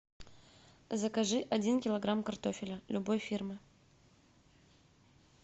закажи один килограмм картофеля любой фирмы